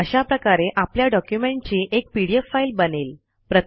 अशा प्रकारे आपल्या डॉक्युमेंटची एक पीडीएफ फाईल बनेल